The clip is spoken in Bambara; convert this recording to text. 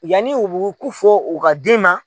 Yanni u bu ku fɔ u ka den ma